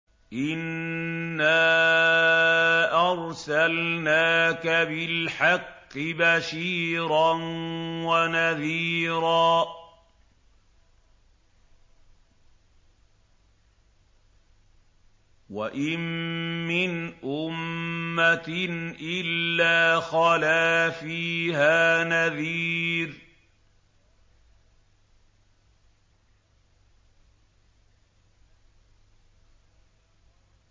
إِنَّا أَرْسَلْنَاكَ بِالْحَقِّ بَشِيرًا وَنَذِيرًا ۚ وَإِن مِّنْ أُمَّةٍ إِلَّا خَلَا فِيهَا نَذِيرٌ